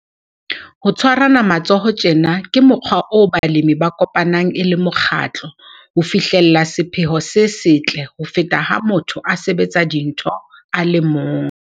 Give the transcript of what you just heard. Ho tshwarana matsoho tjena ke mokgwa oo balemi ba kopanang e le mokgatlo ho fihlella sephetho se setle ho feta ha motho a sebetsa dintho a le mong.